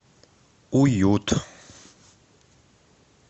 уют